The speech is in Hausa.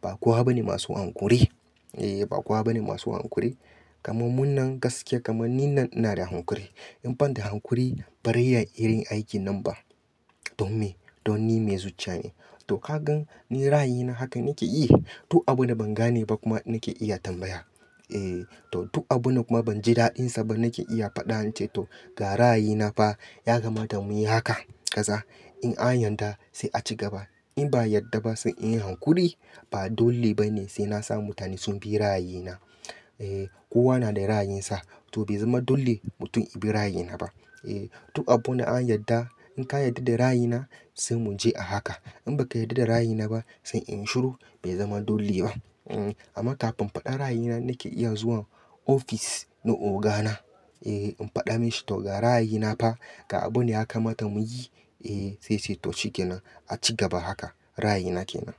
Ba kowa bane masu hankuri. Eh, ba kowa bane masu hankuri. Kaman nin nan gaskiya kaman nin nan ina da hankuri. In ban da hankuri ba ra iya irin aikin nan ba. Don me? Don ni mai zuciya ne. To, ka gan ni ra'ayina haka nake yi. Duk abun da ban gane ba kuma nake iya tambaya. Eh, to duk abun da kuma ban ji daɗinsa ba nake iya faɗa in ce to ga ra'ayina fa ya kamata muyi haka kaza. In an yadda sai a ci gaba. In ba yadda ba sai in yi hankuri. Ba dole bane sai na sa mutane sun bi ra'ayina. Eh, kowa na da ra'ayinsa. To bai zama dole mutum ibi ra'ayina ba. Eh, duk abun da an yadda in ka yarda da ra'ayina sai mu je a haka. In ba ka yarda da ra'ayina ba sai in shiru bai zama dole ba. Amma kafin faɗa ra'ayina nake iya zuwa ofis na ogana. Eh, in faɗa mishi to ga ra'ayina fa ga abu ne ya kamata muyi. Eh, sai ce to shi ke nan. A ci gaba haka. Ra'ayina ke nan.